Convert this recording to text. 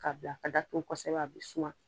K'a bila ka da tugu kɔsɛbɛ a bɛ suma.